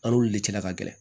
An n'olu de cɛla ka gɛlɛn